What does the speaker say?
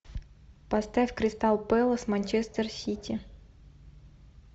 поставь кристал пэлас манчестер сити